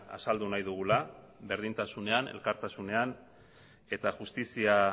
azaldu nahi dugula berdintasunean elkartasunean eta justizia